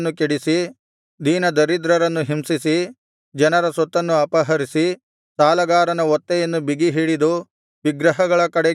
ದೀನದರಿದ್ರರನ್ನು ಹಿಂಸಿಸಿ ಜನರ ಸೊತ್ತನ್ನು ಅಪಹರಿಸಿ ಸಾಲಗಾರನ ಒತ್ತೆಯನ್ನು ಬಿಗಿಹಿಡಿದು ವಿಗ್ರಹಗಳ ಕಡೆಗೆ ಕಣ್ಣೆತ್ತಿ